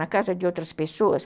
Na casa de outras pessoas?